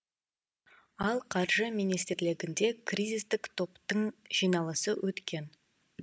ал қаржы министрлігінде кризистік топтың жиналысы өткен